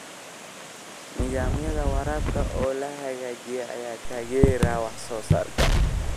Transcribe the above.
Nidaamyada waraabka oo la hagaajiyay ayaa taageeraya wax soo saarka.